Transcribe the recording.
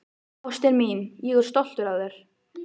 Ástin mín, ég er stoltur af þér.